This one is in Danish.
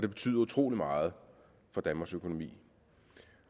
det betyder utrolig meget for danmarks økonomi